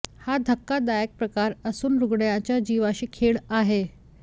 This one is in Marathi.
हा धक्कादायक प्रकार असून रुग्णाच्या जीवाशी खेळ आहे